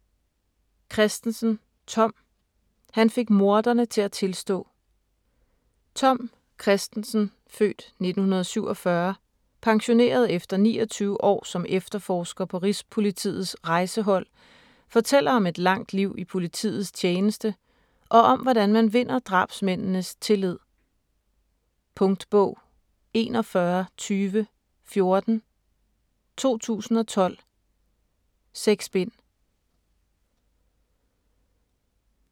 Christensen, Tom: Han fik morderne til at tilstå Tom Christensen (f. 1947), pensioneret efter 29 år som efterforsker på Rigspolitiets Rejsehold, fortæller om et langt liv i politiets tjeneste og om hvordan man vinder drabsmændenes tillid. Punktbog 412014 2012. 6 bind.